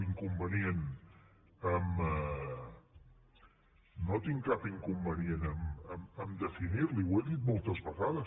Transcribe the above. jo no tinc cap inconvenient a definir l’hi ho he dit moltes vegades